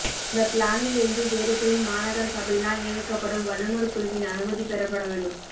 அந்த பிளானில் இருந்து வேறுபடின் மாநகரசபையினால் நியமிக்கப்படும் வல்லுனர்குழுவின் அனுமதி பெறப்படவேண்டும்